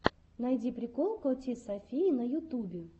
найди прикол коти софии на ютубе